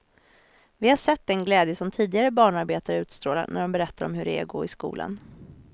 Vi har sett den glädje som tidigare barnarbetare utstrålar när de berättar om hur det är att gå i skolan.